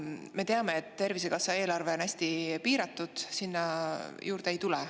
Me teame, et Tervisekassa eelarve on hästi piiratud ja sinna juurde ei tule.